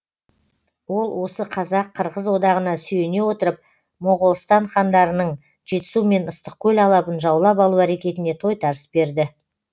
ол осы қазақ қырғыз одағына сүйене отырып моғолстан хандарының жетісу мен ыстықкөл алабын жаулап алу әрекетіне тойтарыс берді